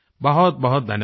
बहुतबहुत धन्यवाद